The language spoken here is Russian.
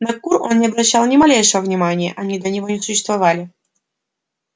на кур он не обращал ни малейшего внимания они для него не существовали